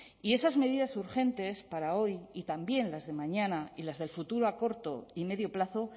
y esas medidas urgentes para hoy y también las de mañana y las del futuro a corto y medio plazo